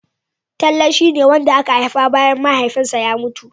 Talle shia ne wanda aka haifa bayan Mahaifinsa ya mutu.